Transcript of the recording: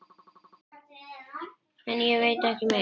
En ég veit ekki meir.